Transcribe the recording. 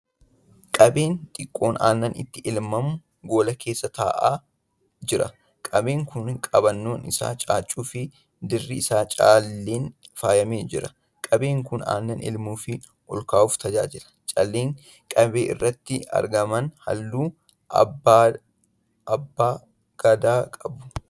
Qabee xiqqoon aannan itti elmamu gola keessa taa'aa jira. Qabeen kun qabannoon isaa caaccuu fi dirri isaa calleen faayamee jira. Qabeen kun aannan elmuu fi olkaa'uuf tajaajila. Calleen qabee irratti argaman halluu abbaa gadaa qabu.